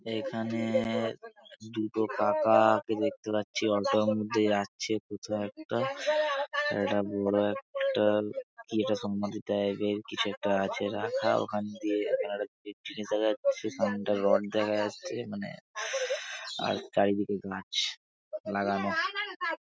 এখা-নে-এ দুটো কাকা-আ-কে দেখতে পাচ্ছি অটোর মধ্যে যাচ্ছে কোথাও একটা একটা বড় একটা কি একটা সমাধি টাইপ -এর কিছু একটা আছে রাখা ওখান দিয়ে কি একটা জিনিস দেখা যাচ্ছে সেখানটায় রড দেখা যাচ্ছে মানে আর চারিদিকে গাছ লাগানো।